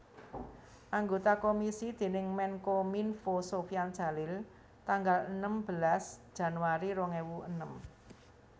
Anggota komisi déning Menkominfo Sofyan Djalil tanggal enem belas Januari rong ewu enem